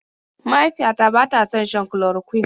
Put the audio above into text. Mahaifiyata bata son shan chloroquine.